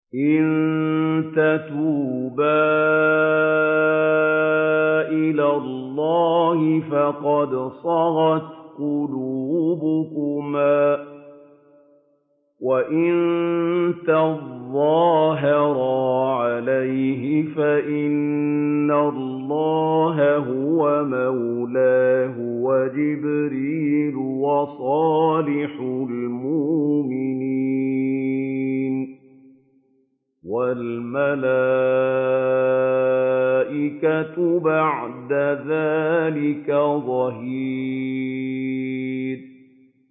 إِن تَتُوبَا إِلَى اللَّهِ فَقَدْ صَغَتْ قُلُوبُكُمَا ۖ وَإِن تَظَاهَرَا عَلَيْهِ فَإِنَّ اللَّهَ هُوَ مَوْلَاهُ وَجِبْرِيلُ وَصَالِحُ الْمُؤْمِنِينَ ۖ وَالْمَلَائِكَةُ بَعْدَ ذَٰلِكَ ظَهِيرٌ